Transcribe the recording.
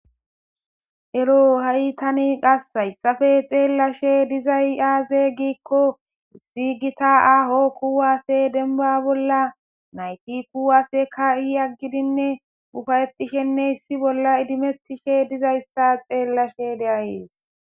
ero ha7i tani qassayssafe xeellashe dizay aaze giikko ziigita aaho kuwaasse denba bolla nayti kuwaseka iyaggidinne ufayetishenne hissi bolla idimettishe dizayssa xeellashe deayees